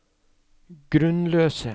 grunnløse